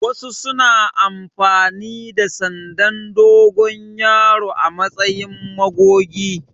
Wasu suna amfani da sandan dogon yaro a matsayin magogi.